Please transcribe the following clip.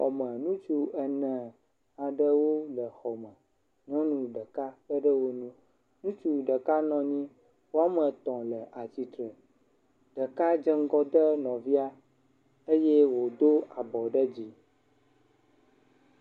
Xɔme, ŋutsu ene aɖewo le xɔme. Nyɔnu ɖeka kpe ɖe wo ŋu. Ŋutsu ɖeka nɔ anyi, woame etɔ̃ le atsitre, ɖeka dze ŋgɔ de nɔvia eye wodo abɔ ɖe dzi.